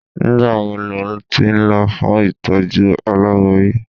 Nígbà wo lo ti ń lọ fún ìtọ́jú aláboyun?